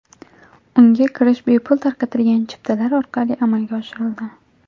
Unga kirish bepul tarqatilgan chiptalar orqali amalga oshirildi.